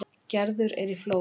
Gerður er í Flórens.